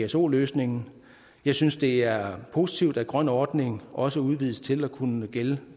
pso løsningen jeg synes det er positivt at grøn ordning også udvides til at kunne gælde